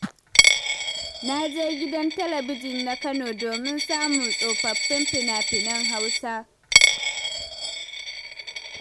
Na je gidan talabijin na Kano, domin samun tsofaffin fina-finan Hausa.